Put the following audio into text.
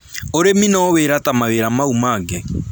Ūrĩmi no wĩra ta mawĩra mau mangĩ